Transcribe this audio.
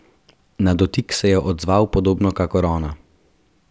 Na dotik se je odzval podobno kakor ona.